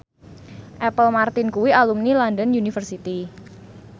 Apple Martin kuwi alumni London University